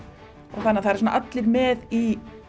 og það eru allir með í